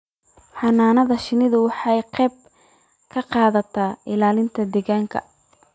Xannaanada shinnidu waxay ka qayb qaadataa ilaalinta deegaanka.